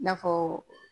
I n'a fɔ